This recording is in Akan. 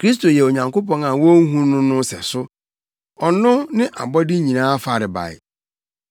Kristo yɛ Onyankopɔn a wonhu no no sɛso. Ɔno ne abɔde nyinaa farebae.